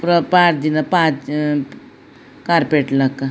ಪೂರ ಪಾಡ್ದಿನ ಪಾತ್ರೆ ಕಾರ್ಪೇಟ್ ಲೆಕ.